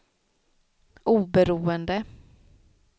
oberoende